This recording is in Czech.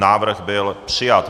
Návrh byl přijat.